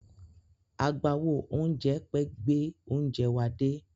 Agbáwo oúnjẹ pẹ́ gbẹ oúnjẹ wa dé.